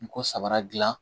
N ko sabara dilan